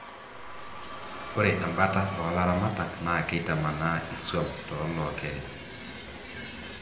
ore embata oo laramatak naa keitamanaa iswam too lokerin